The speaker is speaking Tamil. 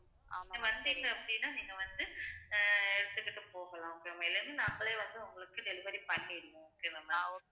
நீங்க வந்தீங்க அப்படின்னா, நீங்க வந்து அஹ் எடுத்துக்கிட்டு போகலாம் okay வா இல்லைனா நாங்களே வந்து உங்களுக்கு delivery பண்ணிடுவோம் okay வா ma'am